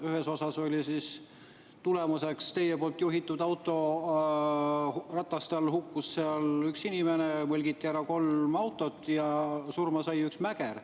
Ühe puhul oli tulemuseks, et teie poolt juhitud auto rataste all hukkus üks inimene, mõlgiti ära kolm autot ja surma sai üks mäger.